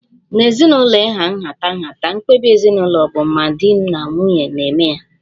N'ezinụlọ ịha nhatanha, mkpebi ezinụlọ bu ma di ma nwunye na-eme ya